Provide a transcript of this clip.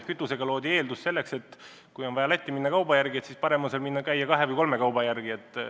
Kütuseaktsiisiga loodi eeldus Lätti sõiduks ja edasi järgnes, et kui on vaja Lätti minna, siis parem käia seal kahe-kolme kauba järel.